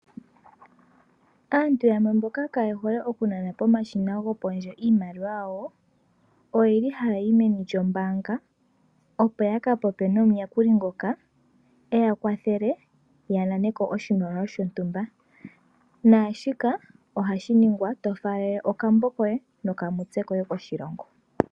Aantu yamwe mboka kaye hole okunana pomashina gopondje iimaliwa yawo oyeli haya yi meni lyombanga opo ya ka popye nomuyakuli ngoka e ya kwathele ya naneko oshimaliwa shotumba naashika ohashi ningwa to faalele okambo koye nokamutse koye koshilongo.